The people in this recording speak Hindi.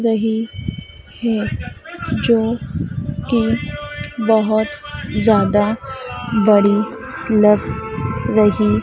रही हैं जो की बहोत ज़्यादा बड़ी लग रही --